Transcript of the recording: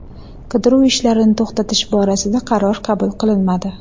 Qidiruv ishlarini to‘xtatish borasida qaror qabul qilinmadi.